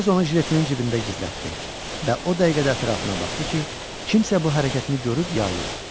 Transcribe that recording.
Tez onu jiletinin cibində gizlətdi və o dəqiqədə ətrafına baxdı ki, kimsə bu hərəkətini görüb ya yox.